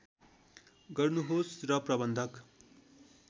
गर्नुहोस् म प्रबन्धक